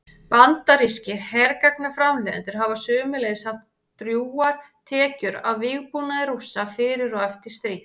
Bandarískir hergagnaframleiðendur hafa sömuleiðis haft drjúgar tekjur af vígbúnaði Rússa fyrir og eftir stríð.